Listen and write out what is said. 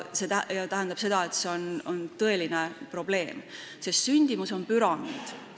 See tähendab, et see on tõeline probleem, sest sündimus on püramiid.